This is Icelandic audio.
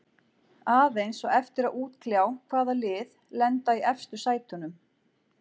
Aðeins á eftir að útkljá hvaða lið lenda í efstu sætunum.